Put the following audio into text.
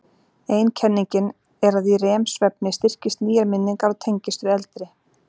Ein kenningin er að í REM-svefni styrkist nýjar minningar og tengist við eldri.